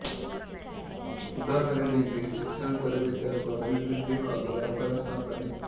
ಉದಾಹರಣೆಗೆ ಶಿಕ್ಷಣ ತರಬೇತಿ ಹಾಗು ಅಭಿವೃದ್ಧಿ ಹಾಗು ವ್ಯಾಪಾರ ಸ್ಥಾಪನೆ